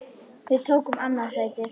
Við tókum annað sætið.